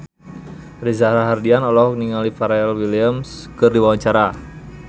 Reza Rahardian olohok ningali Pharrell Williams keur diwawancara